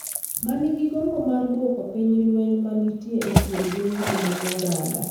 ma nigi gombo mar duoko piny lweny ma nitie e kind dhoudi mag oganda.